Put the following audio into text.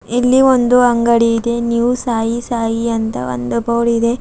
ಇಲ್ಲಿ ಒಂದು ಅಂಗಡಿ ಇದೆ ನ್ಯೂ ಸಾಯಿ ಸಾಯಿ ಅಂತ ಒಂದು ಬೋರ್ಡಿದೆ.